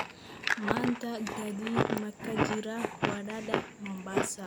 Maanta gaadiid ma ka jiraa wadada Mombasa?